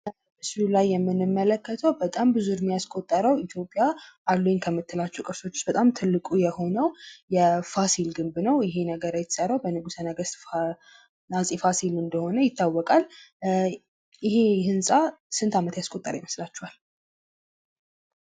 በምስሉ ላይ የምንመለከተዉ በጣም ብዙ እድሜ ያስቆጠረዉ ኢትዮጵያ አሉኝ ከምትላቸዉ ቅርሶች በጣም ትልቁ የሆነዉ የፋሲል ግንብ ነዉ። ይሄ ነገር የተሰራዉ በንጉሰ ነገስት አፄ ፋሲል እንደሆነ ይታወቃል። ይሄ ህንፃ ስንት ዓመት ያስቆጠረ ይመስላችኋል?